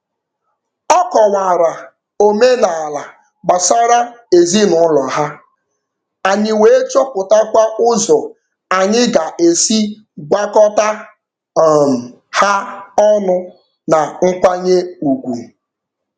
Ọ kọwara omenaala gbasara ezinụụlọ ha, anyị wee chọpụtakwa ụzọ anyị ga-esi gwakọta um ha ọnụ na nkwanye ugwu.